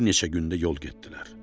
Bir neçə gün də yol getdilər.